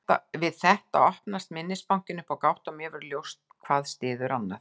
Við þetta opnast minnisbankinn upp á gátt og mér verður ljóst að hvað styður annað.